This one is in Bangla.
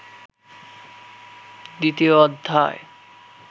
দ্বিতীয় অধ্যায়